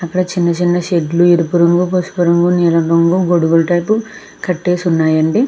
అక్కడ చిన్న చిన్న షెడ్లు ఎరుపు రంగు పసుపు రంగు నీలం రంగు గొడుగులతో కట్టేసి ఉన్నాయి అండి .